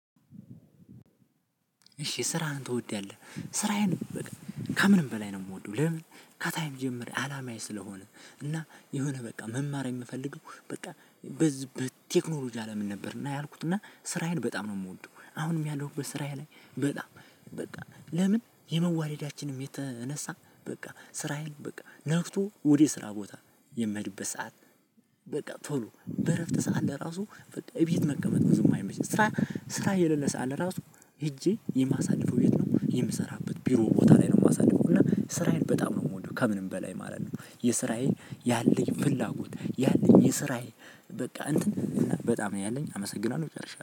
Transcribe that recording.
እሺ ስራህን ትወዳለህ ስራዬን በቃ ከምንም በላይ ነው የምወደው። ለምን? ከታችም ጀምሬ አላማዬ ስለሆነ እና የሆነ በቃ መማር የምፈልገው በቃ በዚህ በቴክኖሎጂ አለምን ነበር እና ያልኩት እና ስራዬን በጣም ነው የምወደው። አሁንም ያለሁበት ስራዬ ላይ በጣም በቃ ለምን? የመዋረዳችንም የተነሳ በቃ ስራዬን በቃ ነግቶ ወደ ስራ ቦታ የምሄድበት ሰዓት በቃ ቶሎ በእረፍት ሰዓት ለራሱ በቃ እቤት መቀመጥ ብዙም አይመችም። ስራ ስራ የሌለ ሰዓት ለራሱ። ሄጄ የማሳድፈው የት ነው የምሰራበት ቢሮ ቦታ ላይ ነው የማሳድፈው። እና ስራዬን በጣም ነው የምወደው ከምንም በላይ ማለት ነው። የስራዬ ያለኝ ፍላጎት ያለኝ የስራዬ በቃ እንትን በጣም ነው ያለኝ አመሰግናለሁ ጨርሻለሁ